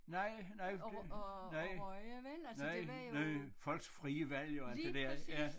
Nej nej det nej nej nej folks frie valg jo alt det der ja